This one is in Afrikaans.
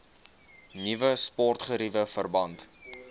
nuwe sportgeriewe verband